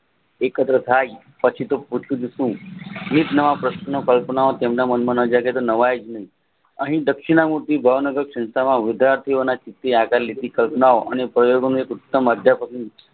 એક પછીતો પૂછતું પૂછતું એક નવા પ્રશ્ન અહીં દક્ષિણાનો ભાવનગર સંસ્થા ઓમાં વિદ્યાર્થીના લીખીય કલ્પનાઓ અને પ્રયોગો